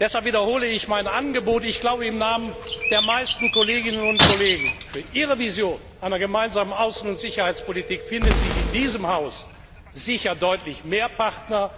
Deshalb wiederhole ich mein Angebot ich glaube im Namen der meisten Kolleginnen und Kollegen Für Ihre Vision einer gemeinsamen Außen und Sicherheitspolitik finden Sie in diesem Haus sicher deutlich mehr Partner